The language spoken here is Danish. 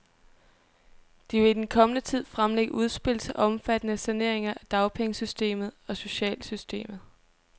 De vil i den kommende tid fremlægge udspil til omfattende saneringer af dagpengesystemet og socialsystemet.